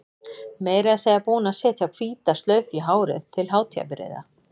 Meira að segja búin að setja hvíta slaufu í hárið til hátíðarbrigða.